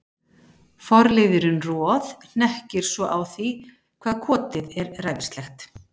Forliðurinn Roð- hnekkir svo á því hvað kotið er ræfilslegt.